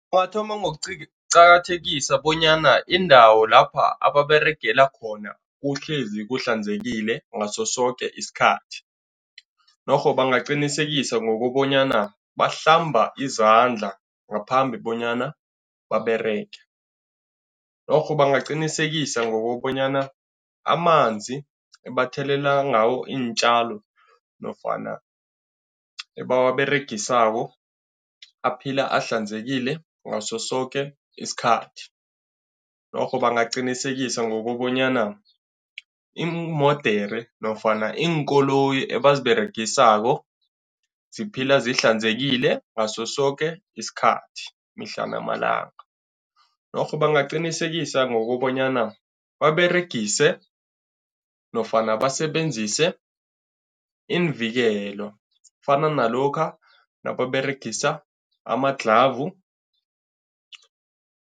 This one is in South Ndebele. Bathoma ngokuqakathekisa bonyana indawo lapha ababeregela khona kuhlezi kuhlanzekile ngaso soke isikhathi norho bangaqinisekisa ngokobanyana bahlamba izandla ngaphambi bonyana baberege. Norho bangaqinisekise ngokobanyana amanzi ebathelelela ngawo iintjalo nofana ebawaberegisako aphila ahlanzekile ngaso soke isikhathi. Norho bangaqinisekise ngokobanyana iimodere nofana iinkoloyi ebaziberegisako ziphila zihlanzekile ngaso soke isikhathi, mihla namalanga. Norho bangaqinisekisa ngokobanyana baberegise nofana basebenzise iimvikelo, kufana nalokha nababeregisa amaglavu.